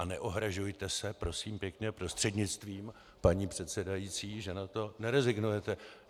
A neohrazujte se, prosím pěkně, prostřednictvím paní předsedající, že na to nerezignujete.